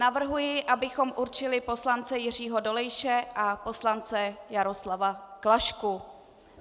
Navrhuji, abychom určili poslance Jiřího Dolejše a poslance Jaroslava Klašku.